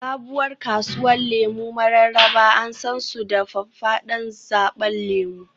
Sabuwar kasuwar lemu Mararaba an san su da faffadan zaɓen lemu